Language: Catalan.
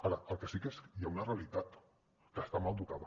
ara el que sí que hi ha una realitat que està mal dotada